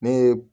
Ne ye